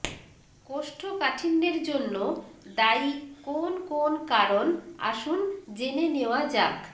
কোষ্ঠকাঠিন্যের জন্য দায়ি কোন কোন কারণ আসুন জেনে নেওয়া যাক